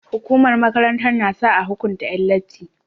Hukumar makaranta nasa a hukunta Yan latti